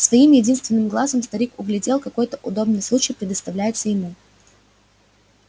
своим единственным глазом старик углядел какой-то удобный случай представляется ему